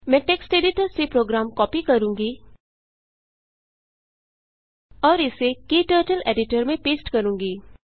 मैं text editor से program copy करूँगी और इसे क्टर्टल एडिटर में पेस्ट करूँगी